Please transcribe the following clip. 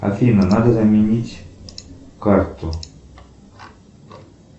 афина надо заменить карту